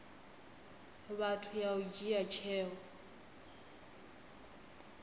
vhathu ya u dzhia tsheo